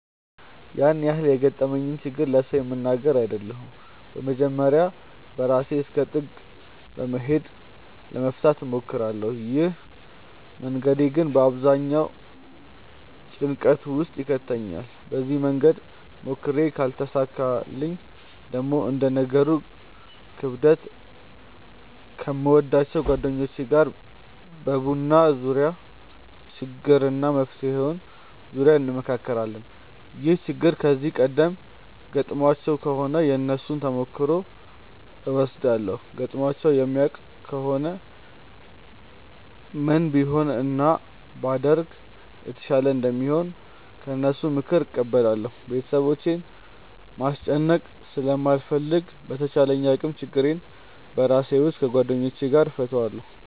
ያን ያህል የገጠመኝን ችግር ለሰው የምናገር አይደለሁም በመጀመርያ በራሴ እስከ ጥግ በመሄድ ለመፍታት እሞክራለው። ይህ መንገዴ ግን በአብዛኛው ጭንቀት ውስጥ ይከተኛል። በዚህ መንገድ ሞክሬ ካልተሳካልኝ ደግሞ እንደ ነገሩ ክብደት ከምወዳቸው ጓደኞቼ ጋር በቡና ዙርያ በችግሩ እና በመፍትሄው ዙርያ እንመክራለን። ይህ ችግር ከዚህ ቀደም ገጥሟቸው ከሆነ የነሱን ተሞክሮ እወስዳለው ገጥሟቸው የማያውቅ ከሆነ ምን ቢሆን እና ምን ባደርግ የተሻለ እንደሆነ ከነሱ ምክርን እቀበላለው። ቤተሰቦቼን ማስጨነቅ ስለማልፈልግ በተቻለኝ አቅም ችግሮቼን በራሴ ወይም ከጓደኞቼ ጋር እፈታለው።